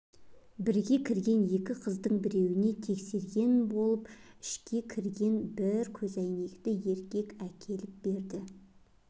бірге кірген екі қыздың біреуіне тексерген болып ішке кірген бір көзәйнекті еркек әкеліп берді